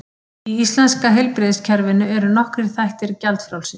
Í íslenska heilbrigðiskerfinu eru nokkrir þættir gjaldfrjálsir.